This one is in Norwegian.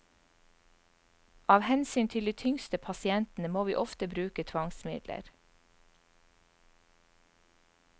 Av hensyn til de tyngste pasientene må vi ofte bruke tvangsmidler.